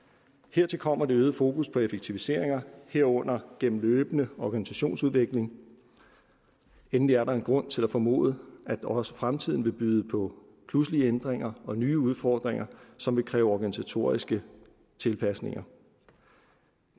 hertil kommer et øget fokus på effektiviseringer herunder gennem løbende organisationsudvikling endelig er der en grund til at formode at også fremtiden vil byde på pludselige ændringer og nye udfordringer som vil kræve organisatoriske tilpasninger